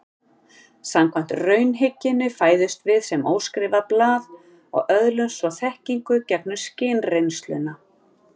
Samkvæmt raunhyggjunni fæðumst við sem óskrifað blað og öðlumst svo þekkingu gegnum skynreynsluna.